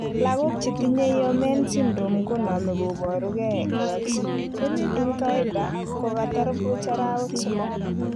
logok che tinye Omenn syndrome Konome koporu ge kogagisiich puch, en kawaida ko kogatar puch arawek somok.